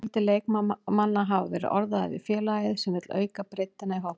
Fjöldi leikmanna hafa verið orðaðir við félagið sem vill auka breiddina í hópnum.